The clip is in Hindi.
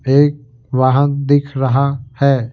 एक वाहन दिख रहा है।